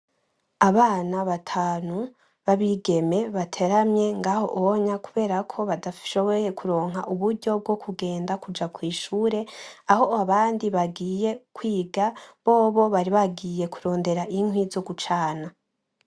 Abana batanu babigeme bateramye ngaho onya kuberako badashoboye kuronka uburyo bwo kugenda kuja kwishure, aho abandi bagiye kwiga, bobo bari bagiye kurondera inkwi zo gucana.